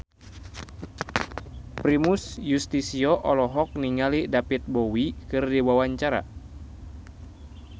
Primus Yustisio olohok ningali David Bowie keur diwawancara